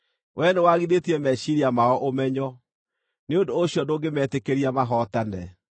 Wee nĩwaagithĩtie meciiria mao ũmenyo; nĩ ũndũ ũcio ndũngĩmetĩkĩria mahootane.